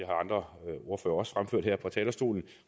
andre ordførere også fremført her fra talerstolen